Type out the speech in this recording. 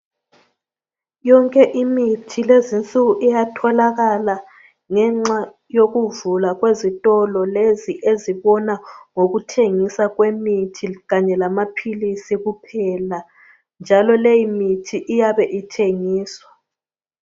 Yonke imithi lezinsuku iyatholakala ngenxa yokuvulwa kwezitolo lezi ezibona ngokuthengisa kwemithi kanye lamaphilisi kuphela. Njalo leyimithi iyabe ithengiswa.